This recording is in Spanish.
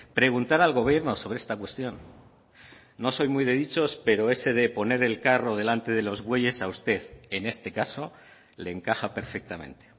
preguntar al gobierno sobre esta cuestión no soy muy de dichos pero ese de poner el carro delante de los bueyes a usted en este caso le encaja perfectamente